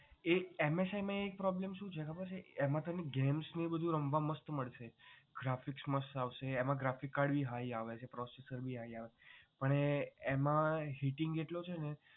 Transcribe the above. એ MSI માં એક problem શું છે ખબર છે? એમાં તમને games ને એ બધુ રમવા મસ્ત મળશે. graphics મસ્ત આવશે એમાં graphic card ભી high આવે છે processor ભી high આવે પણ એમાં heating એટલો છે ને